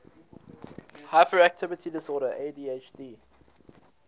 hyperactivity disorder adhd